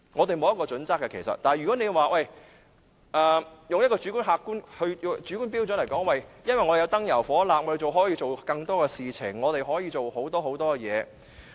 但是，有人可能會以一個主觀標準來說，立法會要使用燈油火蠟，議員用這些時間可以做更多事情。